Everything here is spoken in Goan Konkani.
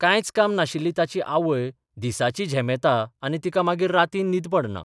कांयच काम नाशिल्ली ताची आवय दिसाची झेमेता आनी तिका मागीर रातीन न्हीद पडना.